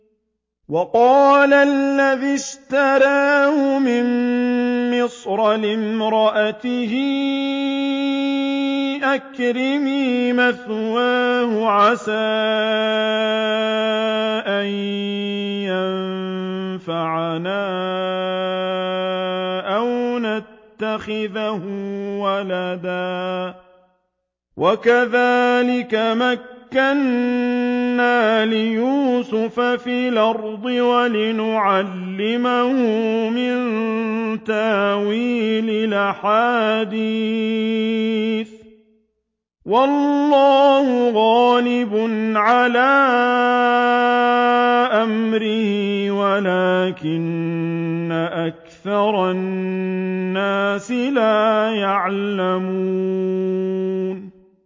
وَقَالَ الَّذِي اشْتَرَاهُ مِن مِّصْرَ لِامْرَأَتِهِ أَكْرِمِي مَثْوَاهُ عَسَىٰ أَن يَنفَعَنَا أَوْ نَتَّخِذَهُ وَلَدًا ۚ وَكَذَٰلِكَ مَكَّنَّا لِيُوسُفَ فِي الْأَرْضِ وَلِنُعَلِّمَهُ مِن تَأْوِيلِ الْأَحَادِيثِ ۚ وَاللَّهُ غَالِبٌ عَلَىٰ أَمْرِهِ وَلَٰكِنَّ أَكْثَرَ النَّاسِ لَا يَعْلَمُونَ